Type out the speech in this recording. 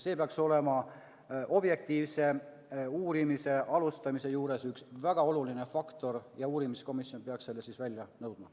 See peaks olema objektiivse uurimise alustamise juures üks väga oluline faktor ja uurimiskomisjon peaks selle materjali välja nõudma.